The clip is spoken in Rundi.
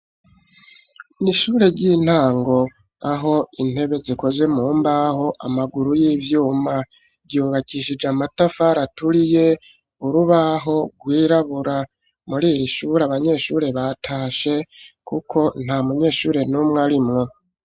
Ni ishure ry'intango, aho intebe zikozwe mu mbaho, amaguru y'ivyuma; ryubakishije amatafari aturiye, urubaho rwirabura; muri iri shure, abanyeshure batashe, kuko nta munyeshure n'umwe arimwo.